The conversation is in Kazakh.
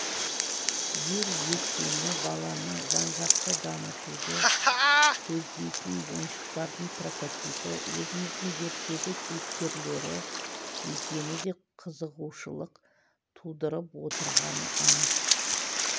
ел ертеңі баланы жан-жақты дамытуды көздейтін ойыншықтардың прототипі өзіміздің ертегі кейіпкерлері екені де қызығушылық тудырып отырғаны анық